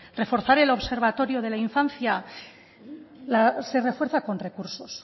reforzar el observatorio de la infancia se refuerza con recursos